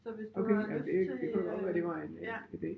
Okay ja det det kunne da godt være det var en ide